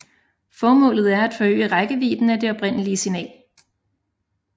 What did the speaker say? Formålet er at forøge rækkevidden af det oprindelige signal